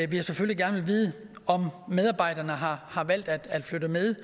vil jeg selvfølgelig gerne vide om medarbejderne har har valgt at flytte med